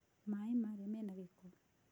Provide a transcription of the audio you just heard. Maaĩ marĩa mena gĩko.